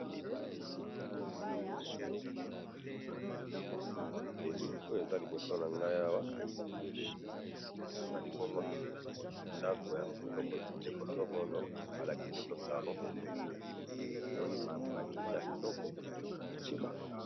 elili oyo eza liboso ngayi awa nalimbongo ndaku ya ndeko songolo alakisi biso saloon namoni ba kiti ya kitoko